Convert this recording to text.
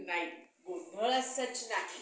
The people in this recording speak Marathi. हम्म